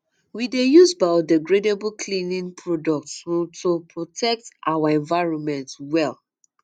we dey use biodegradable cleaning um products to um protect our environment well